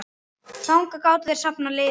Þangað gátu þeir safnað liði.